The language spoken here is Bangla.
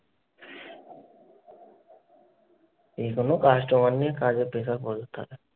এই কোনো customer নিয়ে কাজের pressure প্রচুর থাকে।